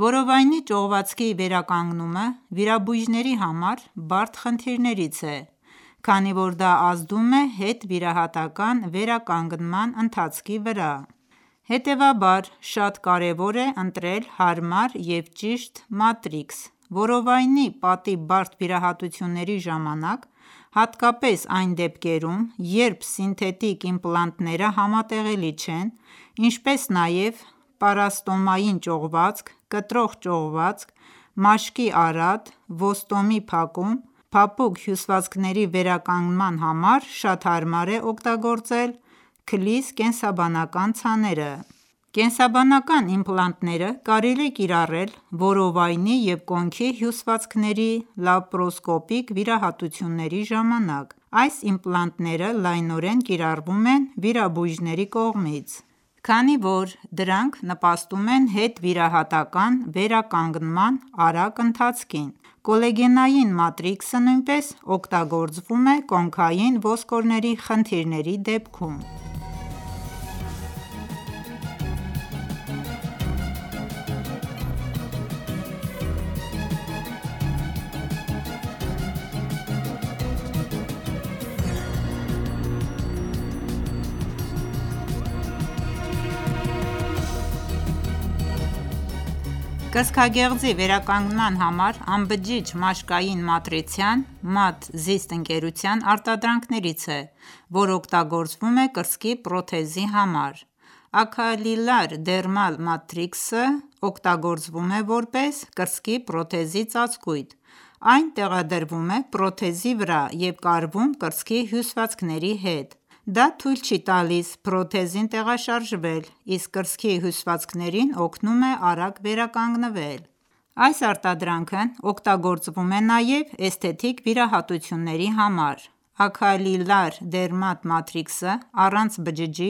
Որովայնի ճողվածքի վերականգնումը վիրաբույժների համար բարդ խնդիրներից է, քանի որ դա ազդում է հետվիրահատական վերականգնման ընթացքի վրա: Հետևաբար շատ կարևոր է ընտրել հարմար և ճիշտ մատրիքս: Որովայնի պատի բարդ վիրահատությունների ժամանակ, հատկապես այն դեպքերում, երբ սինթետիկ իմպլանտները համատեղելի չեն, ինչպես նաև պարաստոմային ճողվածք, կտրող ճողվածք, մաշկի արատ, ոստոմի փակում, փափուկ հյուսվածքների վերականգնման համար շատ հարմար է օգտագործել Cellis կենսաբանական ցաները: Կենսաբանական իմպլանտները կարելի է կիրառել որովայնի և կոնքի հյուսվածքների լաբորասկոպիկ վիրահատությունների ժամանակ: Այս իմպլանտները լայնորեն կիրառվում են վիրաբույժների կողմից, քանի որ դրանք նպաստում են հետվիրահատական վերականգնման արագ ընթացքին: Կոլագենային մատրիքսը նույնպես օգտագործվում է կոնքային ոսկորների խնդիրների դեպքում: Կենսաբանական իմպլանտի կիրառումը կոնքոսկրի վիրահատության ժամանակ Կրծքագեղձի վերականգնման համար անբջիջ մաշկային մատրիցան Maad Zist ընկերության արտադրանքներից է որ օգտագործվում է կրծքի պրոթեզի համար: Acellular Dermal Matrix-ը (ADM) օգտագործվում է որպես կրծքի պրոթեզի ծածկույթ: Այն տեղադրվումէ պրոթեզի վրա և կարվում կրծքի հյուսվածքների հետ: Դա թույլ չի տալիս պրոթեզին տեղաշարժվել, իսկ կրծքի հյուսվածքներին օգնում է արագ վերականգնվել: Այս արտադրանքն պօգտագործվում է նաև էսթետիկ վիրահատությունների համար: Acellular Dermal Matrix-ը առանց բջիջի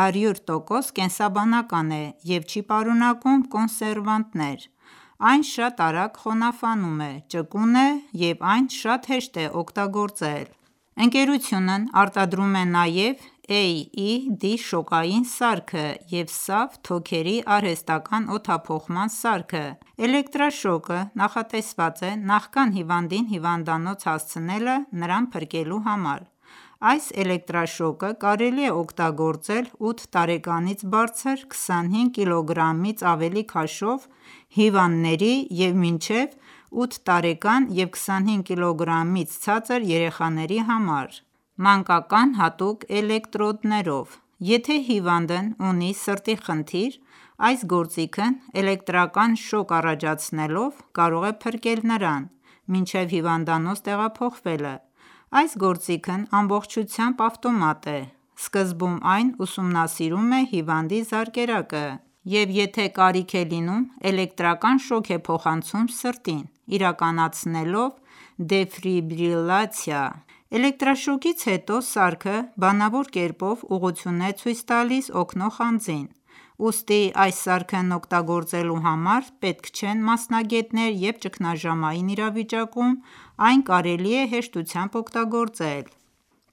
100 տոկոս կենսաբանական է և չի պարունակում կոնսերվանտներ: Այն շատ արագ խոնավանում է, ճկուն է և այն շատ հեշտ է օգտագործել: Ընկերությունն արտադրում է նաև AED շոկային սարքը և SAVe թոքերի արհեստական օդափոխման սարքը: CardiAid Automatic Shock Device սարքը կամ էլեկտրաշոկը նախատեսված է նախքան հիվանդին հիվանդանոց հասցնելը նրան փրկելու համար: Այս էլեկտրաշոկը կարելի է օգտագործել ութ տարեկանից բարձր 25 կիլոգրամից ավելի քաշով հիվանդների և մինչև 8 տարեկան և 25 կիլոգրամից ցածր երեխաների համար՝ մանկական հատուկ էլեկտրոդներով: Եթե հիվանդն ունի սրտի խնդիր, այս գործիքն էլեկտրական շոկ առաջացնելով, կարող է փրկել նրան, մինչև հիվանդանոց տեղափոխվելը: Այս գործիքն ամբողջությամբ ավտոմատ է: Սկզբում այն ուսումնասիրում է հիվանդի զարկերակը և եթե կարիք է լինում, էլեկտրական շոկ է փոխանցում սրտին, իրականացնելով դեֆրիբրիլյացիա: Էլեկտրաշոկից հետո սարքը բանավոր կերպով ուղղություն է ցույց տալիս օգնող անձին: Ուստի այս սարքն օգտագործելու համար պետք չեն մասնագետներ և ճգնաժամային իրավիճակում այն կարելի է հեշտությամբ օգտագործել: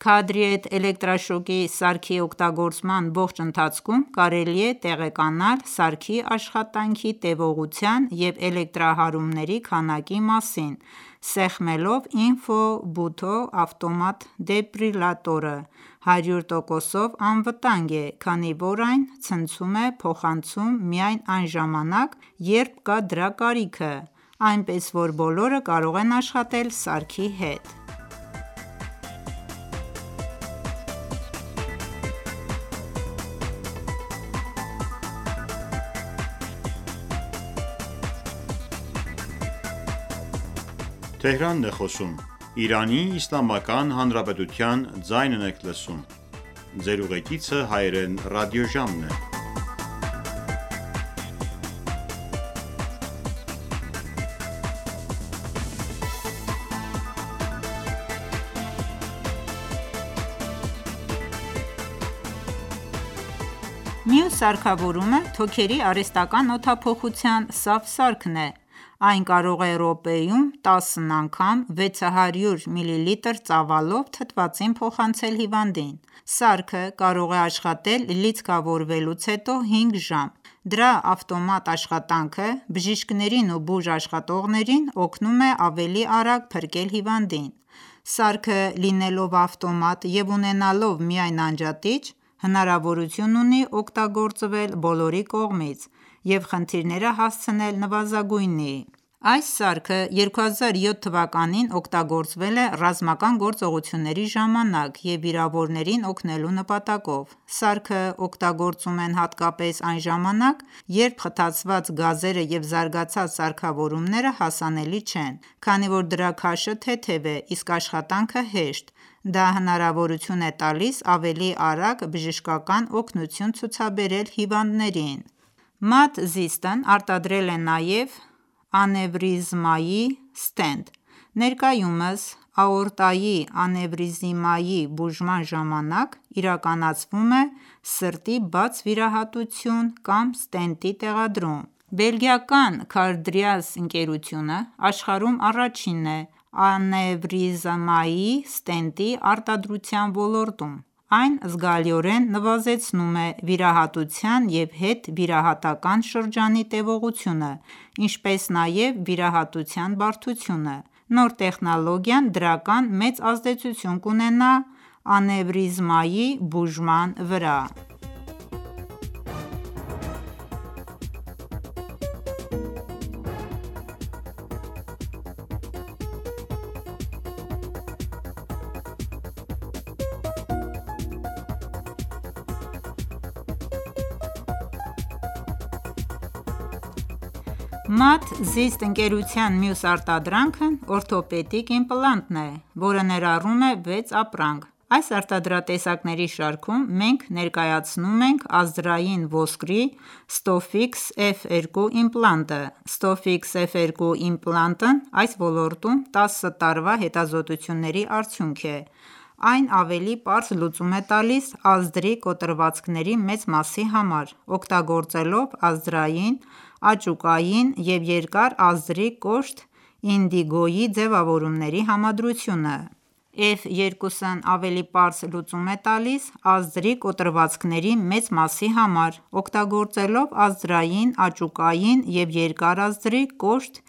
CardiAid էլեկտրաշոկի սարքի օգտագործման ողջ ընթացքում կարելի է տեղեկանալ սարքի աշխատանքի տևողության և էլեկտրահարումների քանակի մասին՝ սեղմելով Info-Button-ը։ Ավտոմատ դեֆիբրիլյատորը 100 տոկոսով անվտանգ է, քանի որ այն ցնցում է փոխանցում միայն այն ժամանակ, երբ կա դրա կարիքը, այնպես որ բոլորը կարող են աշխատել սարքի հետ: CardiAid ավտոմատ հարվածային սարք (AED) կամ CardiAid էլեկտրաշոկի սարք Մյուս սարքավորւմը թոքերի արհեստական օդափոխության SAVe սարքն է: Այն կարող է րոպեում տասն անգամ 600 միլիլիտր ծավալով թթվածին փոխանցել հիվանդին: Սարքը կարող է աշխատել լիցքավորվելուց հետո 5 ժամ: Դրա ավտոմատ աշխատանքը բժիշկներին ու բուժաշխատողներին օգնում է ավելի արագ փրկել հիվանդին: Սարքը, լինելով ավտոմատ և ունենալով միայն անջատիչ, հնարավորություն ունի օգտագործվել բոլորի կողմից և խնդիրները հասցնել նվազագույնի: SAVe սարքը 2007թ. օգտագործցվել է ռազմական գործողությունների ժամանակ և վիրավորներին օգնելու նպատակով: Սարքը օգտագործում են հատկապես այն ժամանակ, երբ խտացված գազերը և զարգացած սարքավորումները հասանելի չեն: Քանի որ դրա քաշը թեթև է, իսկ աշխատանքը հեշտ, դա հնարավորություն է տալիս ավելի արագ բժշկական օգնություն ցուցաբերել հիվանդներին: Maad Zist-ն արտադրել է նաև անևրիզմայի ստենտ (MFM): Ներկայուսմ աորտայի անևրիզմայի բուժման ժամանակ իրականացվում է սրտի բաց վիրահատություն կամ ստենտի տեղադրում: Բելգիական Cardiatis ընկերությունը աշխարհում առաջինն է անևրիզմային ստենտի (MFM) արտադրության ոլորտում: Այն զգալիորեն նվազեցնում է վիրահատության և հետվիրահատական շրջանի տևողությունը, ինչպես նաև վիրահատության բարդությունը։ Նոր տեխնոլոգիան դրական մեծ ազդեցություն կունենա անևրիզմայի բուժման վրա: MFM ստենտը Maad Zist ընկերության մյուս արտադրանքն օրթոպեդիկ իմպլանտն է, որը ներառում է վեց ապրանք։ Այս արտադրատեսակների շարքում մենք ներկայացնում ենք ազդրային ոսկրի Stofix F2 իմպլանտը: Stofix F2 իմպլանտն այս ոլորտում տասը տարվա հետազոտությունների արդյունք է: Այն ավելի պարզ լուծում է տալիս ազդրի կոտրվածքների մեծ մասի համար՝ օգտագործելով ազդրային, աճուկային և երկար ազդրի կոշտ ինդիգոյի ձևավորումների համադրությունը: Stofix F2 իմպլանտը F2-ն ավելի պարզ լուծում է տալիս ազդրի կոտրվածքների մեծ մասի համար՝ օգտագործելով ազդրային աճուկային և երկար ազդրի կոշտ